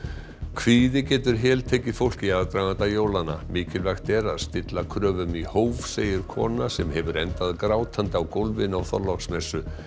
kvíði getur heltekið fólk í aðdraganda jólanna mikilvægt er að stilla kröfum í hóf segir kona sem hefur endað grátandi á gólfinu á Þorláksmessu